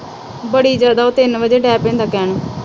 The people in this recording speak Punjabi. ਬੜੀ ਜਦੋਂ ਤਿੰਨ ਵਜੇ